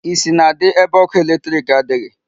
Isi na-adị ebe ọkụ electric adịghị.